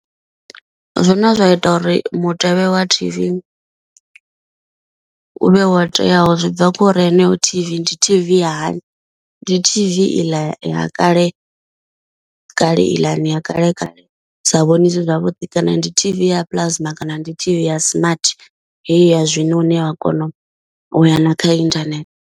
Zwine zwa ita uri mutevhe wa T_V u vhe wo teaho zwi bva kho ri heneyo T_V ndi T_V ya hani. Ndi T_V i ḽa ya kale kale iḽani ya kale kale sa vhoniwi zwavhuḓi kana ndi T_V ya plasma kana ndi T_V ya smart heyi ya zwino ine wa kona u ya na kha inthanethe.